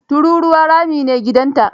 Tururuwa rami ne gidanta.